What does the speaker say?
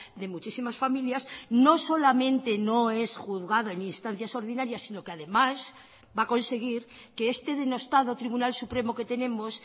de muchísimas familias no solamente no es juzgado en instancias ordinarias si no que además va a conseguir que este denostado tribunal supremo que tenemos